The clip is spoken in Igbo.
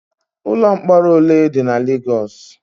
Ụlọ mkpọrọ ole dị na Legos?